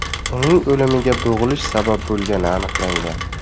Uning o‘limiga bo‘g‘ilish sabab bo‘lgani aniqlangan.